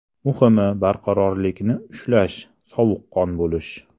Muhimi barqarorlikni ushlash, sovuqqon bo‘lish.